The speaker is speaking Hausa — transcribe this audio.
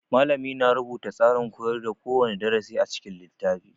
Malami na rubuta tsarin koyar da kowane darasi a cikin littafi